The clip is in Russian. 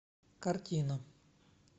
картина